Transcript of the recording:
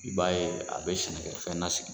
I b'a ye a bɛ sɛnɛkɛfɛn lasigi.